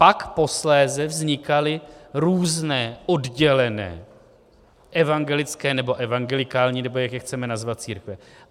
Pak posléze vznikaly různé oddělené evangelické, nebo evangelikální, nebo jak je chceme nazvat, církve.